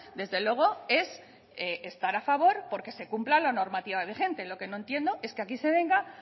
desde luego es estar a favor porque se cumpla la normativa vigente lo que no entiendo es que aquí se venga